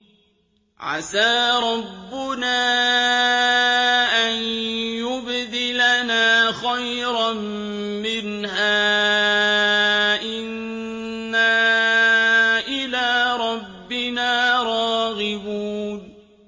عَسَىٰ رَبُّنَا أَن يُبْدِلَنَا خَيْرًا مِّنْهَا إِنَّا إِلَىٰ رَبِّنَا رَاغِبُونَ